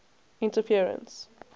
interference